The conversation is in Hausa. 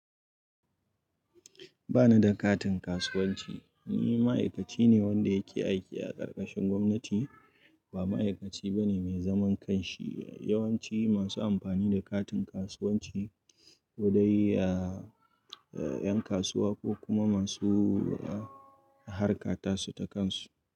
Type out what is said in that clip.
Ba ni da katin kasuwanci. Ni ma'aikaci ne wanda yake aiki a karkashin gwamnati, ba ma'aikaci bane mai zaman kanshi. Yawan ci masu amfani da katin kasuwanci kodai a, a yan kasuwa ko kuma masu harka tasu ta kansu.